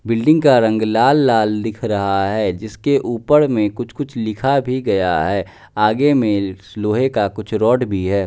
Building का रंग लाल लाल दिख रहा है जिसके ऊपर में कुछ कुछ लिखा भी गया है आगे में लोहे का कुछ रॉड भी है।